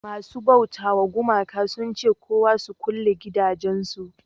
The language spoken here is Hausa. masu bauta wa gumaka sun ce kowa su kulle gidajen su